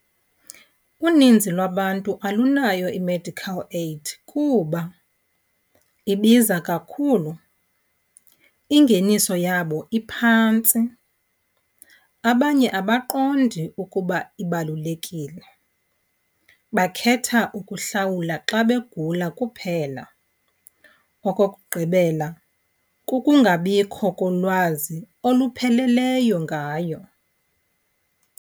Uninzi lwabantu alunayo i-medical aid kuba ibiza kakhulu, ingeniso yabo iphantsi. Abanye abaqondi ukuba ibalulekile, bakhetha ukuhlawula xa begula kuphela. Okokugqibela, kukungabikho kolwazi olupheleleyo ngayo.